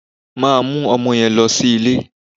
Máa mú ọmọ yẹn lọ sí ilé